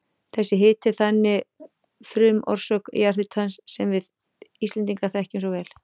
Þessi hiti er þannig frumorsök jarðhitans sem við Íslendingar þekkjum svo vel.